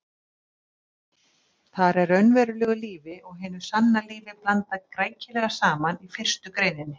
Þar er raunverulegu lífi og hinu sanna lífi blandað rækilega saman í fyrstu greininni.